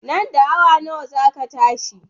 Nan da awa nawa za ka tashi?